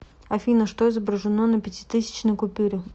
афина что изображено на пятитысячной купюре